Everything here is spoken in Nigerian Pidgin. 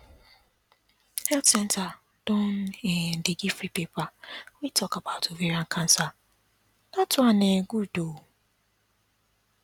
health centre don um dey give free paper wey talk about ovarian cancer that one um good ooo